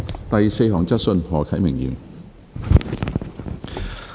第四項質詢。